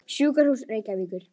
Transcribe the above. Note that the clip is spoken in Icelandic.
Sjúkrahúsi Reykjavíkur